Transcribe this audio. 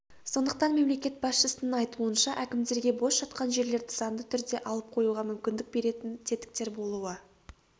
сондықтан мемлекет басшысының айтуынша әкімдерге бос жатқан жерлерді заңды түрде алып қоюға мүмкіндік беретін тетіктер болуы